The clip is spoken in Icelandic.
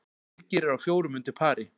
Birgir er á fjórum undir pari